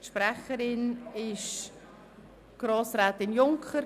Sprecherin ist die Grossrätin Junker.